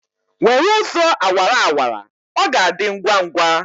Were ụzọ awara awara! ọ ga-adị ngwa ngwa